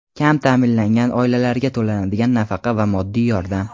Kam taʼminlangan oilalarga to‘lanadigan nafaqa va moddiy yordam.